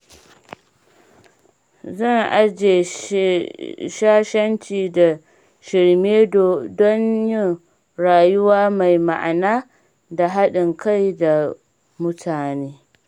Zan aje shashanci da shirme don yin rayuwa mai ma’ana da haɗin kai da mutane.